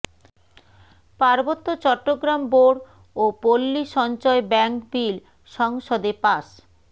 পার্বত্য চট্টগ্রাম বোর্ড ও পল্লী সঞ্চয় ব্যাংক বিল সংসদে পাস